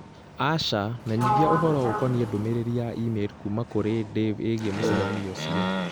Asha menyithia ũhoro ũkonĩĩ ndũmĩrĩri ya i-mīrū kuuma kũrĩ Dave ĩgiĩ mũcemanio ũcio.